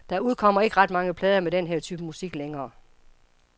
Der udkommer ikke ret mange plader med den her type musik længere.